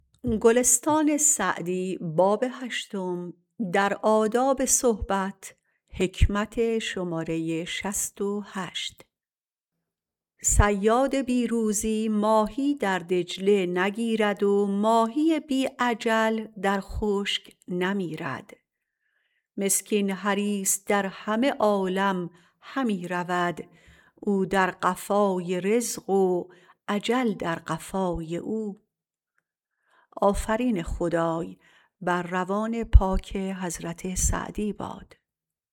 صیاد بی روزی ماهی در دجله نگیرد و ماهی بی اجل در خشک نمیرد مسکین حریص در همه عالم همی رود او در قفای رزق و اجل در قفای او